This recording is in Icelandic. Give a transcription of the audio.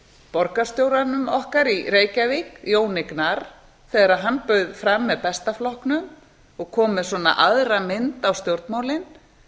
borgarstjóranum okkar í reykjavík jóni gnarr þegar hann bauð fram með besta flokknum og kom með svona aðra mynd á stjórnmálin